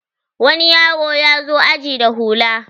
wani yaro ya zo aji da hula